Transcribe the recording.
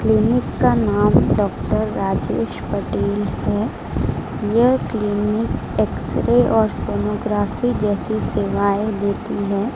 Clinic का नाम doctor Rajesh Patel है यह क्लीनिक एक्स रे और सोनोग्राफी जैसे सेवाएं देती है।